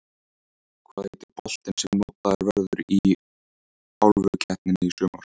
Hvað heitir boltinn sem notaður verður í Álfukeppninni í sumar?